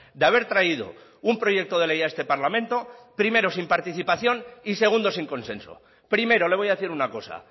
de haber traído un proyecto de ley a este parlamento primero sin participación y segundo sin consenso primero le voy a decir una cosa